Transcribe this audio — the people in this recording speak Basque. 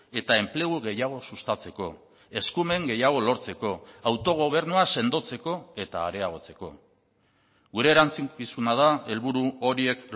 eta enplegu gehiago sustatzeko eskumen gehiago lortzeko autogobernua sendotzeko eta areagotzeko gure erantzukizuna da helburu horiek